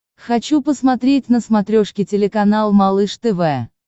хочу посмотреть на смотрешке телеканал малыш тв